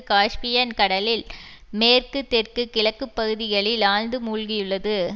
Caspian கடலில் மேற்கு தெற்கு கிழக்கு பகுதிகளில் ஆழ்ந்து மூழ்கியுள்ளது